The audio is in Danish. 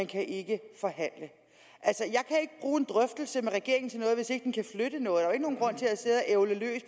kan ikke bruge en drøftelse med regeringen til noget hvis ikke den kan flytte noget og ævle løs